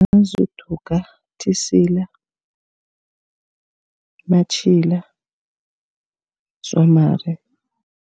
uDuka, uThisila, uMatjhila, uDzwamari.